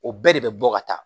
O bɛɛ de bɛ bɔ ka taa